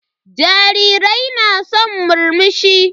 Jarirai na san murmushi.